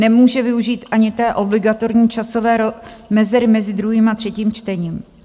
Nemůže využít ani té obligatorní časové mezery mezi druhým a třetím čtením.